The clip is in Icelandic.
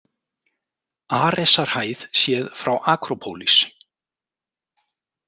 Aresarhæð séð frá Akrópólis.